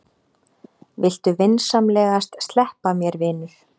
Viltu vinsamlegast sleppa mér, vinur!